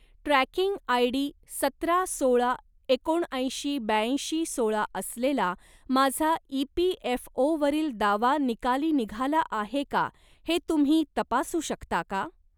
Tracking ID. सतरा सोळा एकोणऐंशी ब्याऐंशी सोळा असलेला माझा ई.पी.एफ.ओ.वरील दावा निकाली निघाला आहे का ते तुम्ही तपासू शकता का?